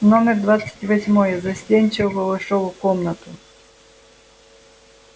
номер двадцать восьмой застенчиво вошёл в комнату